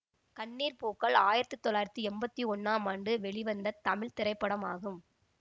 கண்ணீர் பூக்கள் ஆயிரத்தி தொள்ளாயிரத்தி எம்பத்தி ஒன்னாம் ஆண்டு வெளிவந்த தமிழ் திரைப்படமாகும்